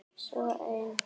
Svo ein.